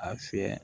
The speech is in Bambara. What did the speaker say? A fiyɛ